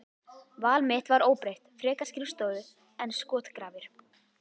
Val mitt var óbreytt, frekar skrifstofu en skotgrafir.